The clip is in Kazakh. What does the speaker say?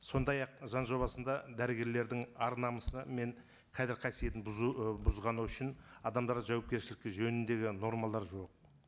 сондай ақ заң жобасында дәрігерлердің ар намысы і мен қадір қасиетін бұзу ы бұзғаны үшін адамдарды жауапкершілікке жөніндегі нормалар жоқ